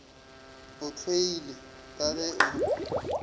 o hloilego ka ge o